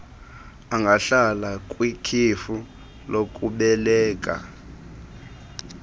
angahlala kwikhefu lokubeleka